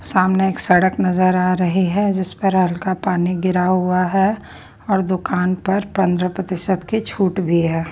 सामने एक सड़क नजर आ रही है जिस पर हल्का पानी गिरा हुआ है और दुकान पर पंद्रह प्रतिशद की छूट भी है।